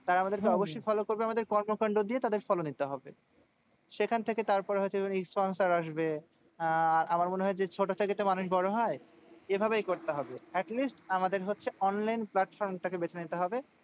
তারা আমাদেরকে অবশ্যই follow করবে। আমাদের কর্মকান্ড দিয়ে তাদের follow নিতে হবে। সেখান থেকে তারপর হচ্ছে sponsor আসবে। আহ আমার মনে হয় যে, ছোট থেকেই তো মানুষ বড় হয়। এভাবেই করতে হবে। at least আমাদের হচ্ছে online platform টাকে বেছে নিতে হবে।